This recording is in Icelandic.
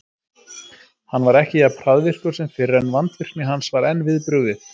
Hann var ekki jafn hraðvirkur sem fyrr, en vandvirkni hans var enn við brugðið.